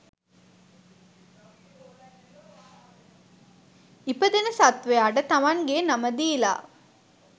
ඉපදෙන සත්තවයාට තමන්ගේ නම දීලා